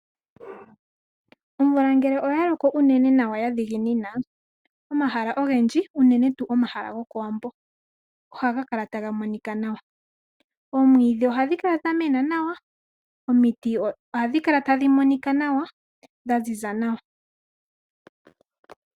Omvula ngele oyaloko uunene nawa yadhiginina omahala ogendji uunene tu omahala gokowambo ohagakala tagamonika nawa. Oomwiidhi ohadhikala dhamena nawa, omiti ohadhikala tadhimonika nawa dhaziza nawa.